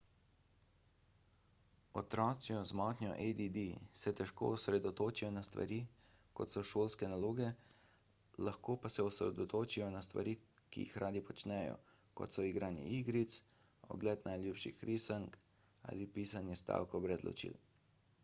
otroci z motnjo add se težko osredotočijo na stvari kot so šolske naloge lahko pa se osredotočijo na stvari ki jih radi počnejo kot so igranje igric ogled najljubših risank ali pisanje stavkov brez ločil